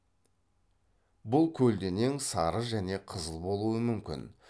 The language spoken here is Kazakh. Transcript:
бұл көлденең сары және қызыл болуы мүмкін